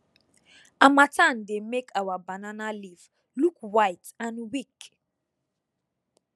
harmattan dey make our banana leaf look white and weak